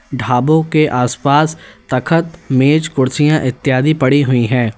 ढाबों के आस पास तखत मेज कुर्सियां इत्यादि पड़ी हुई है।